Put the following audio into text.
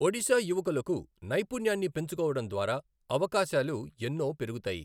ఒడిశా యువకులకు నైపుణ్యాన్ని పెంచుకోవడం ద్వారా అవకాశాలు ఎన్నో పెరుగుతాయి.